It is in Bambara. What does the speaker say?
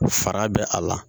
Fara bɛ a la